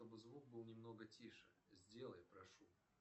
чтобы звук был немного тише сделай прошу